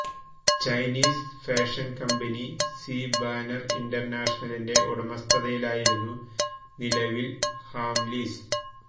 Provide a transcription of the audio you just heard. Chinese fashion company C Banner ഇന്റർനാഷണലിന്റെ ഉടമസ്ഥതയിലായിരുന്നു നിലവിൽ ഹാംലീസ്